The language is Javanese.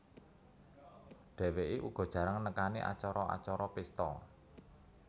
Dheweké uga jarang nekani acara acara pesta